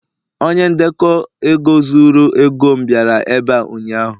onye ndekọ ego zuru ego m bịara ebe a ụnyaahụ